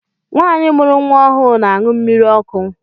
Nwanyi mụrụ nwa ọhụụ n'añu mmírí ọkụ.